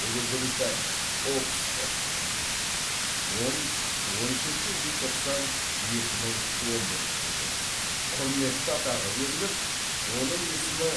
ұлыбритания оксфорд он он үшінші желтоқсан екі мың он бірінші жыл құрметті атағы беріліп оның есімі